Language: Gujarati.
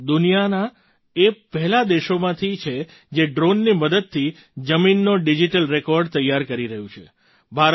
ભારત દુનિયાના એ પહેલા દેશોમાંથી છે જે ડ્રૉનની મદદથી જમીનનો ડિજિટલ રેકૉર્ડ તૈયાર કરી રહ્યું છે